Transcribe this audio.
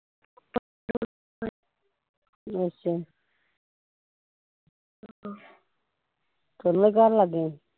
ਅੱਛਾ ਤੁਰਨ ਗਾਣ ਲੱਗ ਗਿਆ ਸੀ